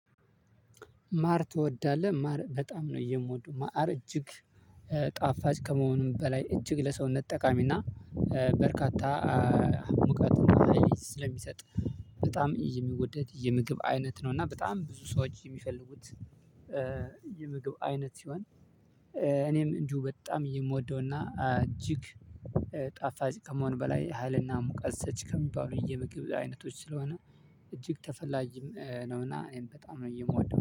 ማር ትወዳለህ ማር በጣም ነው የምወደው? ማዕር እጅግ ጣፋጭ ከመሆኑም በላይ እጅግ ለሰውነት ጠቃሚና በርካታ ሙቀት ስለሚሰጥ በጣም የሚወደድ የምግብ አይነት ነው እና በጣም ብዙ ሰዎች የሚፈልጉት የምግብ አይነት ሲሆን። እኔም እንጁ በጣም የምወደውና እጅግ ጣፋጭ ከመሆን በላይ ሀይልና ሙቀት ሰጪ ከሚባሉ የምግብ አይነቶች ስለሆነ እጅግ ተፈላጊም ነውና እኔም በጣም ነው የምወደው